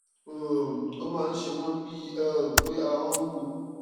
um ó máa ń ṣe wọn bíi um pé ara wọn wúwo